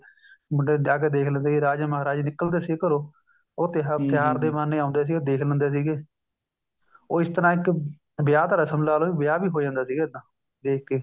ਮੁੰਡੇ ਨੂੰ ਵਿਆਹ ਕੇ ਦੇਖ ਲਵੇ ਰਾਜੇ ਮਹਾਰਾਜੇ ਨਿੱਕਲ ਦੇ ਸੀ ਘਰੋ ਉਹ ਤਿਉਹਾਰ ਦੇ ਬਹਾਨੇ ਆਉਦੇ ਸੀ ਉਹ ਦੇਖ ਲੈਂਦੇ ਸੀਗੇ ਉਹ ਇਸ ਤਰ੍ਹਾਂ ਇੱਕ ਵਿਆਹ ਦਾ ਰਸਮ ਲਾਲੋ ਵਿਆਹ ਵੀ ਹੋ ਜਾਂਦਾ ਸੀਗਾ ਦੇਖਕੇ